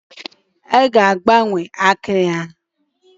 A ga-agbanwe akịrị ya.